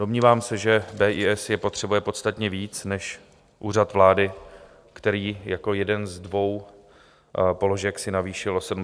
Domnívám se, že BIS je potřebuje podstatně víc než Úřad vlády, který jako jeden ze dvou položek si navýšil o 74 milionů.